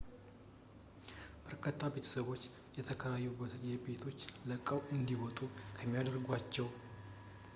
በርካታ ቤተሰቦች የተከራዩበትን ቤቶች ለቀው እንዲወጡ የሚያደርገውን ለመዋጋት የሕግ እርዳታ እየፈለጉ መሆናቸው በግልፅ መታየት ከጀመረ በኋላ፣ በመኖሪያ ቤት ዙሪያ ባሉት ማጭበርበሮች ሰለባ የሆኑትን ለመርዳት በmarch 20 ቀን በeast bay community law center ስብሰባ ተካሂዷል